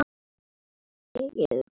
Bakki efstur blaði á.